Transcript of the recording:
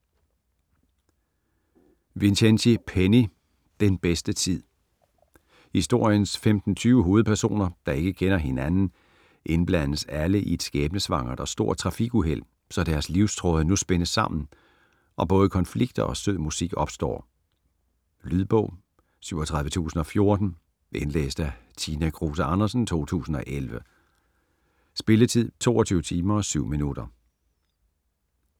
Vincenzi, Penny: Den bedste tid Historiens 15-20 hovedpersoner, der ikke kender hinanden, indblandes alle i et skæbnesvangert og stort trafikuheld, så deres livstråde nu spindes sammen og både konflikter og sød musik opstår. Lydbog 37014 Indlæst af Tina Kruse Andersen, 2011. Spilletid: 22 timer, 7 minutter.